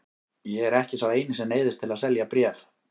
Ég er ekki sá eini sem neyðist til að selja bréf.